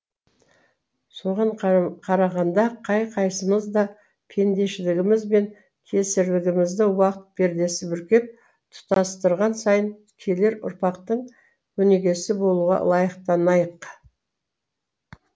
соған қарағанда қай қайсымыз да пендешілігіміз бен кесірлігімізді уақыт пердесі бүркеп тұтастырған сайын келер ұрпақтың өнегесі болуға лайықтанайық